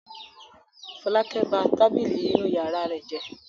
Fọlákẹ́ ba tábìlì inú ìyàrá rẹ̀ jẹ́.